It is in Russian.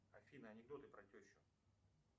афина анекдоты про тещу